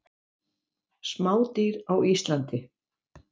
Smádýr á Íslandi.